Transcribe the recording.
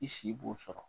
I si b'o sɔrɔ